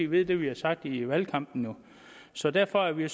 ved det vi har sagt i valgkampen så derfor er vi